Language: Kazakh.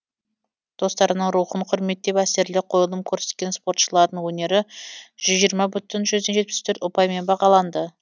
достарының рухын құрметтеп әсерлі қойылым көрсеткен спортшылардың өнері жүз жиырма бүтін жүзден жетпіс төрт ұпаймен бағаланды